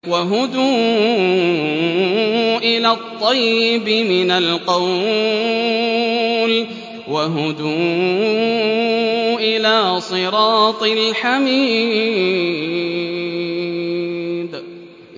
وَهُدُوا إِلَى الطَّيِّبِ مِنَ الْقَوْلِ وَهُدُوا إِلَىٰ صِرَاطِ الْحَمِيدِ